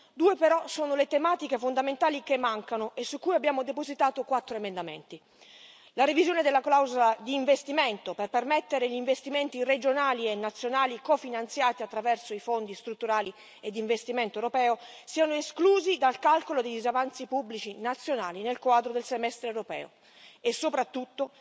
Due però sono le tematiche fondamentali che mancano, e su cui abbiamo depositato quattro emendamenti la revisione della clausola di investimento, per permettere che gli investimenti regionali e nazionali cofinanziati attraverso i fondi strutturali e di investimento europei siano esclusi dal calcolo dei disavanzi pubblici nazionali nel quadro del semestre europeo, e soprattutto